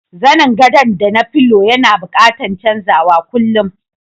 Zanen godo da na filo yana buƙatan chanzawa kullum.